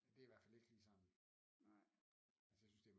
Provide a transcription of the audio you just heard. Det er i hvert fald ikke lige sådan altså jeg synes at det